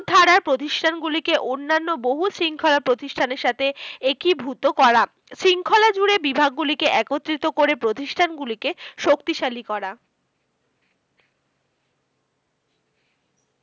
ধারার প্রতিষ্ঠানগুলিকে অন্যান্য বহু শৃঙ্খলা প্রতিষ্ঠানের সাথে একীভূত করা। শৃঙ্খলা জুড়ে বিভাগগুলিকে একত্রিত করে প্রতিষ্ঠানগুলি কে শক্তিশালী করা।